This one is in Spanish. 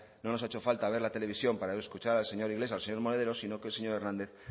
no nos ha hecho falta ver la televisión para escuchar al señor iglesias y al señor monedero sino que el señor hernández